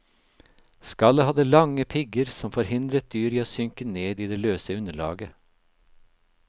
Skallet hadde lange pigger som forhindret dyret i å synke ned i det løse underlaget.